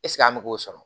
an bɛ k'o sɔrɔ